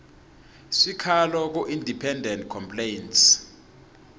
sikhalo kuindependent complaints